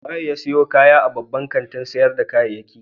Wa ya sayo kaya a babban kantin sayar da kayayyaki?